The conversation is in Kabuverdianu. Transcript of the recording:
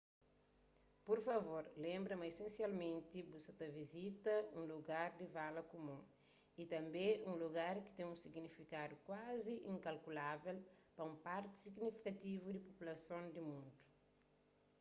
pur favor lenbra ma isensialmenti bu sa ta vizita un lugar di vala kumun y tanbê un lugar ki ten un signifikadu kuazi inkalkulável pa un parti signifikativu di populason di mundu